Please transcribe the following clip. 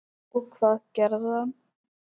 Og hvað gerði hann?